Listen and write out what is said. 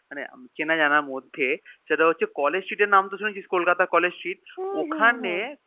মানে চেনা জানার মধ্যে সেটা হচ্ছে College street এর নাম তো শুনেছিস Kolkata college street ওখানে